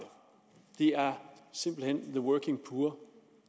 det er simpelt hen the working poor